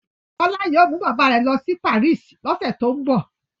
Bọ́lá yóò mú bàbá rẹ̀ lọ sí Paris lọ́sẹ̀ tó ń bọ̀.